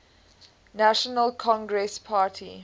national congress party